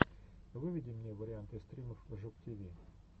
выведи мне варианты стримов жук тиви